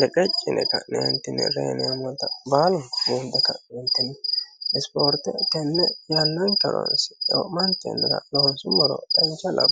leqeccine ka'neentine reyineamolta baalu hiinbe ka'neentinni isipoorte tenne yannanke horoonsi'ne ka'ne loonsummoro danchate